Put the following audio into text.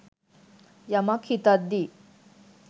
යමක් හිතද්දි